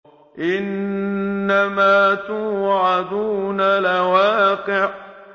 إِنَّمَا تُوعَدُونَ لَوَاقِعٌ